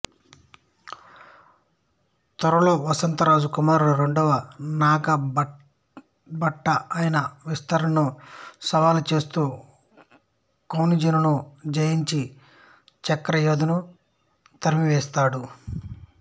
త్వరలో వత్సరాజు కుమారుడు రెండవ నాగభట ఆయన విస్తరణను సవాలు చేస్తూ కన్నౌజును జయించి చక్రయూధను తరిమివేసాడు